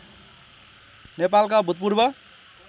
नेपालका भूतपूर्व